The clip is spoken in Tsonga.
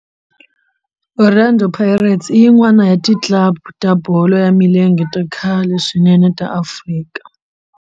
Orlando Pirates i yin'wana ya ti club ta bolo ya milenge ta khale swinene ta Afrika.